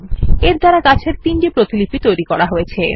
এর দ্বারা গাছের তিনটি প্রতিলিপি তৈরী করা হয়েছে